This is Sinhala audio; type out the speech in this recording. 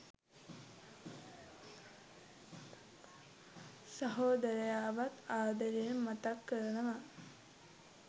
සහෝදරයාවත් ආදරයෙන් මතක් කරනවා.